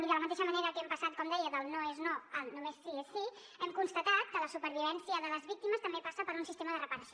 i de la mateixa manera que hem passat com deia del no és no al només sí és sí hem constatat que la supervivència de les víctimes també passa per un sistema de reparació